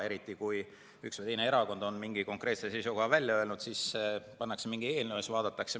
Eriti kui üks või teine erakond on mingi konkreetse seisukoha välja öelnud, siis pannakse kokku mingi eelnõu ja vaadatakse.